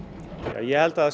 ég held að það sé